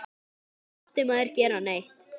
Aldrei mátti maður gera neitt.